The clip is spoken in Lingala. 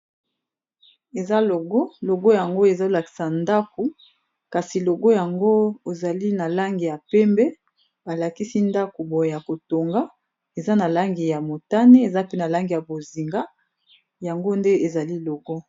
Eza ologo yango ezolakisa ndako kasi logo yango ezali na langi ya pembe balakisi ndaku boye ya kotonga eza na langi ya motane eza pe na langi ya bozinga yango nde ezali logo.